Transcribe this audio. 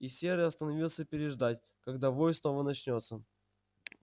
и серый остановился переждать когда вой снова начнётся